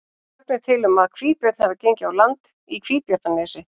Sögn er til um að hvítabjörn hafi gengið á land í Hvítabjarnarnesi.